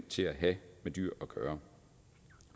til at have med dyr at gøre